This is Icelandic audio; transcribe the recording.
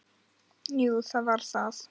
Jú, það var það.